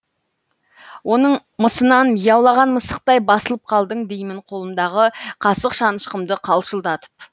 оның мысынан мияулаған мысықтай басылып қалдың деймін қолымдағы қасық шанышқымды қалшылдатып